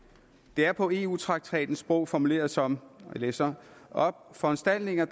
det er på eu traktatens sprog formuleret som og jeg læser op foranstaltninger